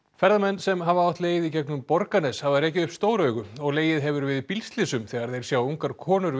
ferðamenn sem hafa átt leið í gegnum Borgarnes hafa rekið upp stór augu og legið hefur við bílslysum þegar þeir sjá ungar konur við